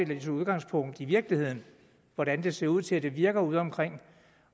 de tog udgangspunkt i virkeligheden i hvordan det ser ud til at virke udeomkring